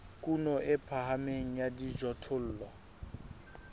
kuno e phahameng ya dijothollo